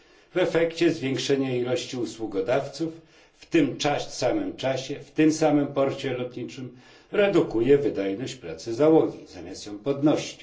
W efekcie zwiększenie liczby usługodawców w tym samym czasie, w tym samym porcie lotniczym redukuje wydajność pracy załogi zamiast ją podnosić.